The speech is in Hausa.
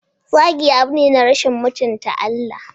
Zagi abu ne na zagi da rashin mutunta Allah.